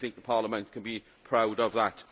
I think the Parliament can be proud of that.